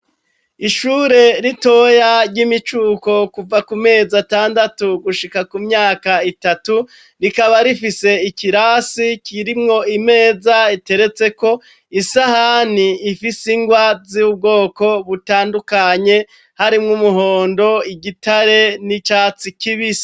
Ishure ritoya ry'imicuko Kuva kumezi atandatu gushika kumyaka itatu rikaba rifise ikirasi kirimwo imeza iteretseko isahani ifise ingwa zubwoko butandukanye harimwo umuhondo, igitare n'iryicatsi kibisi.